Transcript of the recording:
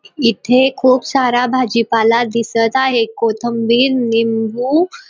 इथे खूप सारा भाजीपाला दिसत आहे कोथंबीर निंबू --